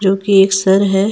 उनके एक सर हैं।